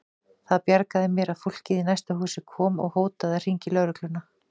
Það bjargaði mér að fólkið í næsta húsi kom og hótaði að hringja í lögregluna.